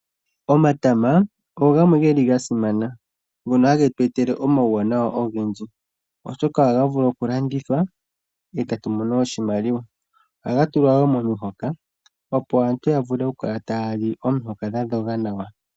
Omatama ogo gamwe ge li ga simana, ngono hage tu etele omauwanawa ogendji, oshoka ohaga vulu okulandithwa, e tage tu etele iimaliwa, ohaga tulwa wo momihoka, opo aantu yavule okukala taya li omihoka dha dhoga nawa.